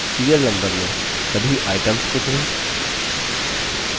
serial number में सभी items को चुनें